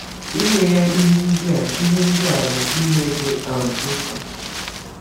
Inye ya ihe ndị a ihe ndị a bụ ihe dị um mkpa.